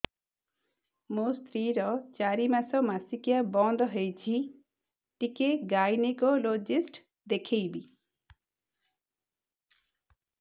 ମୋ ସ୍ତ୍ରୀ ର ଚାରି ମାସ ମାସିକିଆ ବନ୍ଦ ହେଇଛି ଟିକେ ଗାଇନେକୋଲୋଜିଷ୍ଟ ଦେଖେଇବି